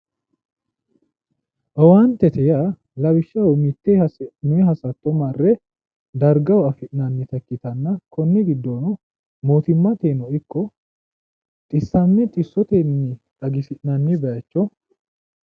Owaantete yaa lawishshaho mitte hasi'noyi hasatto marre dargaho afi'nannita ikkitanna konni giddono mootimmateyino ikko xissamme xissotenni xagisi'nanni bayicho.